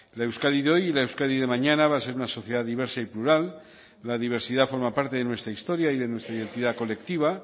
la euskadi de hoy y la euskadi de mañana va a ser una sociedad diversa y plural la diversidad forma parte de nuestra historia y de nuestra identidad colectiva